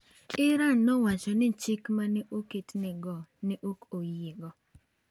Iran nowacho ni chik ma ne oketne go ne ok oyiego.